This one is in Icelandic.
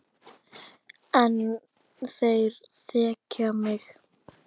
En þeir þekkja mig.